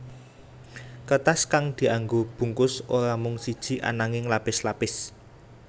Kertas kang dianggo bungkus ora mung siji ananging lapis lapis